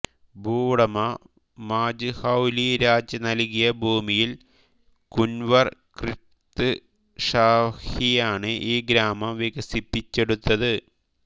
ഭൂവുടമ മാജ്ഹൌലി രാജ് നൽകിയ ഭൂമിയിൽ കുൻവർ ക്രിത്ത് ഷാഹിയാണ് ഈ ഗ്രാമം വികസിപ്പിച്ചെടുത്തത്